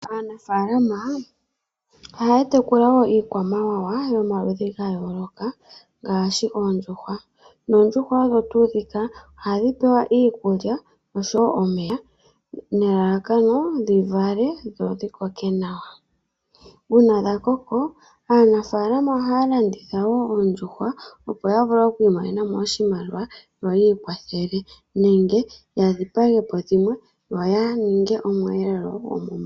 Aanafaalama ohaya tekula iikwamawa yomaludhi ga yooloka ngaashi oondjuhwa, noondjuhwa ohadhi pewa iikulya oshowo omeya dhivale sho dhikoke nawa . Uuna dha koko aanafaalama ohaya landitha woo oondjuhwa opo yavule oku imonenamo oshimaliwa yo yi ikwathele nenge yadhipagepo dhimwe yaninge omweelelo.